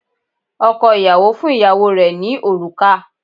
Ọkọ̀ ìyàwó fún ìyàwó rẹ̀ ní òrùka